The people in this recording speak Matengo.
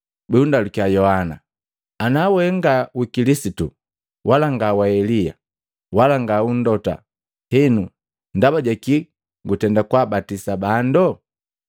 bundalukiya Yohana, “Ana we nga wa Kilisitu wala nga wa Elia, wala nga u Mlota, henu ndaba ja kii gutenda kabatisa bando?”